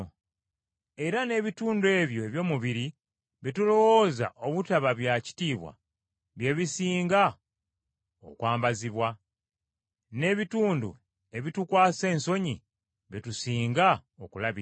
Era n’ebitundu ebyo eby’omubiri bye tulowooza obutaba bya kitiibwa bye bisinga okwambazibwa, n’ebitundu ebitukwasa ensonyi bye tusinga okulabirira,